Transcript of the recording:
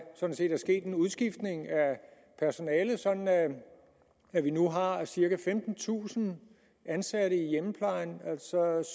sket en udskiftning af personalet sådan at at vi nu har cirka femtentusind ansatte i hjemmeplejen